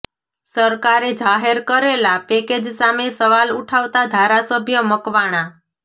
સરકારે જાહેર કરેલા પેકેજ સામે સવાલ ઉઠાવતા ધારાસભ્ય મકવાણા